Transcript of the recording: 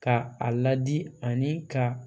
Ka a ladi ani ka